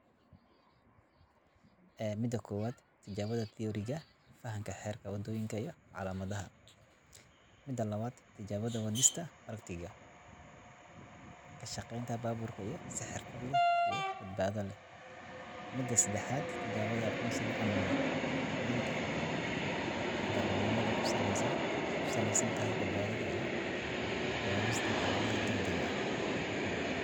Maxay yihiin saddexda tijaabo ee ugu badan oo la sameeyo ka dib marka la dhameeyo tababarka Spurs Driving School?" Waxaad ku jawaabi kartaa adoo si kooban uga hadlaya tijaabooyinka caadiga ah ee la sameeyo marka la dhammeeyo tababarka wadista, sida: Tijaabada Teoriga: Fahamka xeerarka wadooyinka iyo calaamadaha. Tijaabada Wadista Practiga: Ka shaqeynta baabuurka si xirfad leh iyo badbaado leh. Tijaabada Aqoonsiga Amniga: Hubinta in darawalnimadu ku saleysan tahay badbaado iyo ka jawaabista xaaladaha degdegga ah.